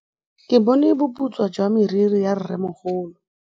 Ke bone boputswa jwa meriri ya rrêmogolo.